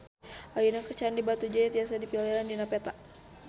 Ayeuna Candi Batujaya tiasa dipilarian dina peta